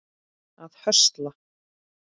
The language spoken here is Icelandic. að höstla